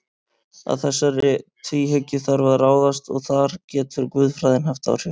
Að þessari tvíhyggju þarf að ráðast og þar getur guðfræðin haft áhrif.